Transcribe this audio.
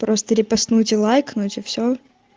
просто репостнуть и лайкнуть и все